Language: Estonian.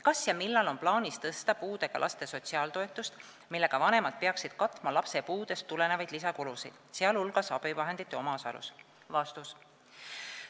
Kas ja millal on plaanis tõsta puudega laste sotsiaaltoetust, millega vanemad peaksid katma lapse puudest tulenevaid lisakulusid, sh abivahendite omaosaluse?